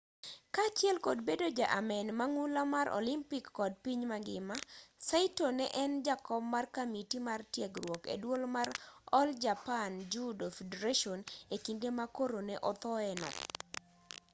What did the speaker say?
kaachiel kod bedo ja amen mang'ula mar olympic kod piny mangima saito ne en jakom mar kamiti mar tiegruok e duol mar all japan judo federation e kinde ma koro ne othoe no